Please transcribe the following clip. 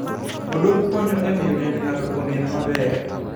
Odok konyo e miyo dend ng'ato onen maber.